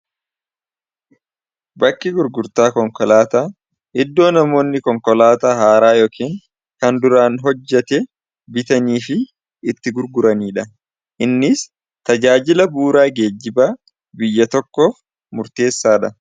bakki gurgurtaa konkolaata iddoo namoonni konkolaata haaraa yookaan kan duraan hojjate bitanii fi itti gurguraniidha innis tajaajila buuraa geejibaa biyya tokkoof murteessaa dha